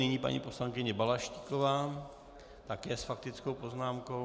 Nyní paní poslankyně Balaštíková, také s faktickou poznámkou.